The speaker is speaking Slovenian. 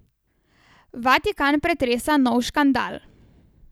Vatikan pretresa nov škandal.